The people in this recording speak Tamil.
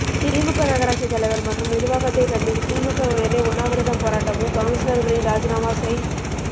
திமுக நகராட்சி தலைவர் மற்றும் நிர்வாகத்தை கண்டித்து திமுக வினரே உண்ணாவிரதம் போராட்டமும் கவுன்சிலர்களின் ராஜினாமா செய்